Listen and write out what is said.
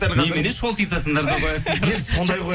немене шолтитасыңдар да қоясыңдар енді сондай ғой